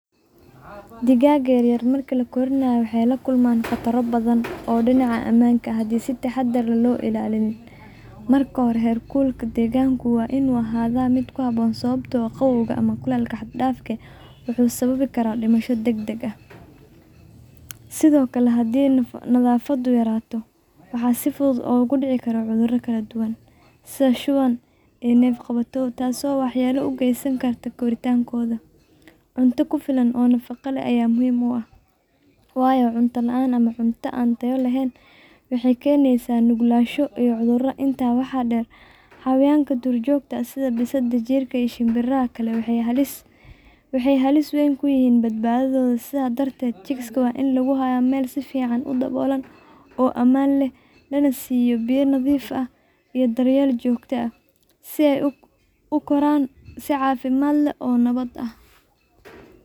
Digaagga yaryar marka la korinayo waxay la kulmaan khataro badan oo dhinaca ammaanka ah haddii aan si taxaddar leh loo ilaalin. Marka hore, heerkulka deegaanka waa inuu ahaadaa mid ku habboon, sababtoo ah qabowga ama kulaylka xad-dhaafka ah wuxuu sababi karaa dhimasho degdeg ah. Sidoo kale, haddii nadaafaddu yaraanayso, waxaa si fudud u dhici kara cudurro kala duwan sida shuban, neef-qabatow iyo coccidiosis, taas oo waxyeello u geysan karta korriinkooda. Cunto ku filan oo nafaqo leh ayaa muhiim u ah, waayo cunto la’aan ama cunto aan tayo lahayn waxay keenaysaa nuglaansho iyo cudur. Intaa waxaa dheer, xayawaanka duurjoogta ah sida bisadaha, jiirka ama shimbiraha kale waxay halis weyn ku yihiin badbaadadooda. Sidaas darteed, chicks-ka waa in lagu hayo meel si fiican u daboolan oo ammaan ah, lana siiyo biyo nadiif ah iyo daryeel joogto ah si ay u koraan si caafimaad leh oo nabad ah.